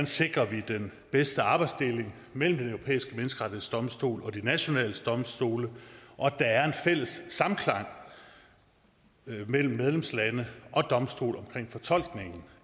sikrer den bedste arbejdsdeling mellem den europæiske menneskerettighedsdomstol og de nationale domstole og at der er en fælles samklang mellem medlemslande og domstole om fortolkningen